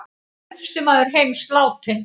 Elsti maður heims látinn